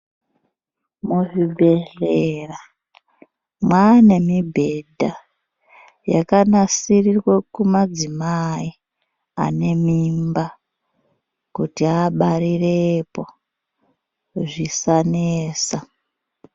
Muzvibhedhlera maanemi bhedha yakanasirirwe kumadzimai anemimba kuti abaarirepo zvisanetsa.